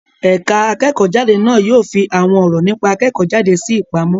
Ẹ̀ka akẹ́kọ̀ọ́-jáde na yóò fi àwọn ọ̀rọ̀ nípa akẹ́kọ̀ọ́-jáde sí ìpamọ́.